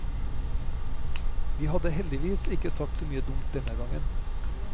Vi hadde heldighvis ikke sagt så mye dumt denne gangen.